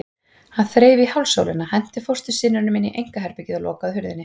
Hann þreif í hálsólina, henti fóstursyninum inn í einkaherbergið og lokaði hurðinni.